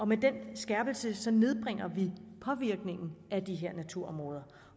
med den skærpelse nedbringer vi påvirkningen af de her naturområder